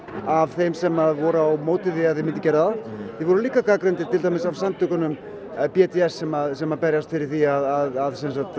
af þeim sem voru á móti því að þið gerðuð það þið voruð líka gagnrýndir af samtökunum b d s sem sem berjast fyrir því að